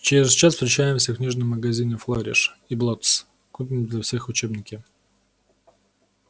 через час встречаемся в книжном магазине флориш и блоттс купим для всех учебники